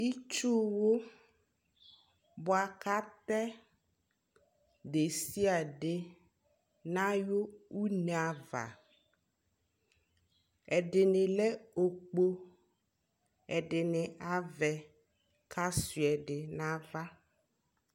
itsʋ wʋ bʋakʋ atɛ dɛsiadɛ kʋ atɛ nʋ ayʋ nɛ aɣa, ɛdini lɛ ɔkpɔ, ɛdini aɣɛ kʋ asʋa ɛdi nʋ aɣa